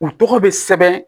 U tɔgɔ bɛ sɛbɛn